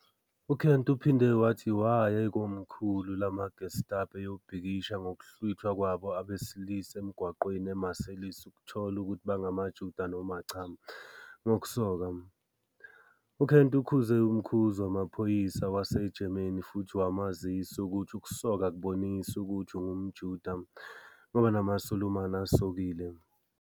UKent uphinde wathi waya ekomkhulu lamaGestapo eyobhikisha ngokuhlwithwa kwabo abesilisa emgwaqweni eMarseilles ukuthola ukuthi bangamaJuda noma cha, ngokusoka, UKent ukhuze umkhuzi wamaphoyisa waseGerman futhi wamazisa ukuthi ukusoka akubonisi ukuthi ungumJuda, ngoba namaSulumane asokile.